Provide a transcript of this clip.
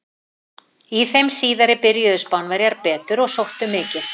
Í þeim síðari byrjuðu Spánverjar betur og sóttu mikið.